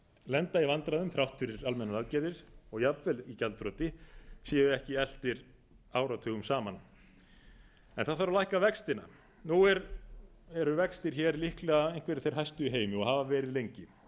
lenda í vandræðum þrátt fyrir almennar aðgerðir og jafnvel í gjaldþroti séu ekki eltir áratugum saman það þarf að lækka vextina nú eru vextir hér líklega einhverjir þeir hæstu í heimi og hafa verið lengi